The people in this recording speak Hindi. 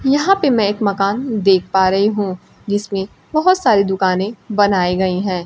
यहां पे मैं एक मकान देख पा रही हूं जिसमें बहोत सारी दुकाने बनाए गई हैं।